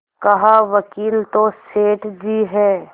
कहावकील तो सेठ जी हैं